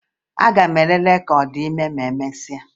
Aga m elele ka ọ dị ime ma emesịa